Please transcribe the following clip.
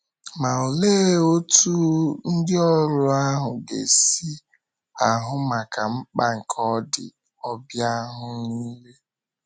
Ma, olee otú ndịoru ahụ ga - esi ahụ maka mkpa nke ndị ọbịa ahụ nile?